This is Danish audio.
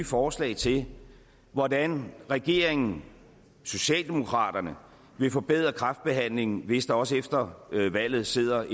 forslag til hvordan regeringen socialdemokraterne vil forbedre kræftbehandlingen hvis der også efter valget sidder